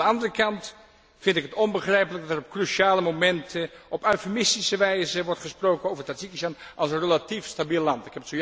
Aan de andere kant vind ik het onbegrijpelijk dat op cruciale momenten op eufemistische wijze wordt gesproken over Tadzjikistan als een relatief stabiel land.